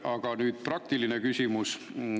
Aga nüüd praktiline küsimus.